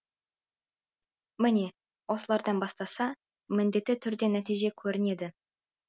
міне осылардан бастаса міндетті түрде нәтиже көрінеді